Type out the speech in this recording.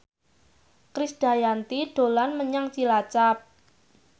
Krisdayanti dolan menyang Cilacap